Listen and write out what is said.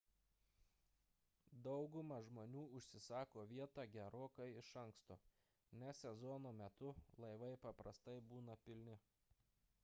dauguma žmonių užsisako vietą gerokai iš anksto nes sezono metu laivai paprastai būna pilni